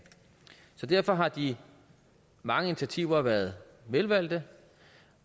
derfor har de mange initiativer været velvalgte